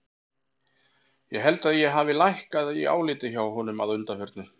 Ég held að ég hafi hækkað í áliti hjá honum að undanförnu.